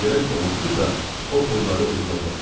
Ona görə ki, onsuz da o pulları uduzacaqsınız.